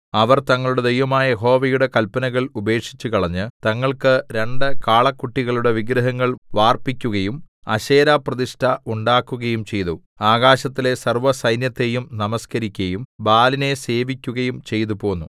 അവർ തങ്ങളുടെ ദൈവമായ യഹോവയുടെ കല്പനകൾ ഉപേക്ഷിച്ചുകളഞ്ഞ് തങ്ങൾക്ക് രണ്ട് കാളക്കുട്ടികളുടെ വിഗ്രഹങ്ങൾ വാർപ്പിക്കുകയും അശേരാപ്രതിഷ്ഠ ഉണ്ടാക്കുകയും ചെയ്തു ആകാശത്തിലെ സർവ്വസൈന്യത്തെയും നമസ്കരിക്കയും ബാലിനെ സേവിക്കുകയും ചെയ്തുപോന്നു